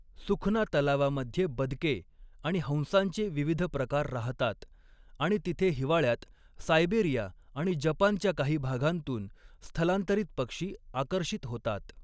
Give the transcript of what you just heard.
सुखना तलावामध्ये बदके आणि हंसांचे विविध प्रकार राहतात आणि तिथे हिवाळ्यात सायबेरिया आणि जपानच्या काही भागांतून स्थलांतरित पक्षी आकर्षित होतात.